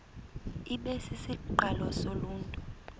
ibe sisiqalo soluntu